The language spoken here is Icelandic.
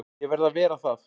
Ég verð að vera það.